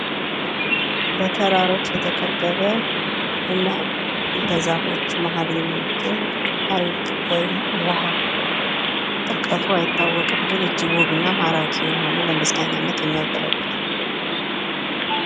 በተራሮች የተከበበ እና በዛፎች መካከል የሚገኝ ሀይቅ ወይም ውሃ፤ ጥልቀቱ አይታወቅም ግን እጅግ ውብ እና ማራኪ የሆነ፣ ለመዝናኛነት የሚያገለግል።